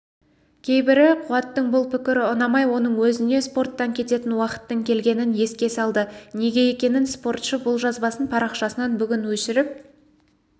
кейбірі қуаттың бұл пікірі ұнамай оның өзіне спорттан кететін уақыттың келгенін еске салды неге екенін спортшы бұл жазбасын парақшасынан бүгін өшіріп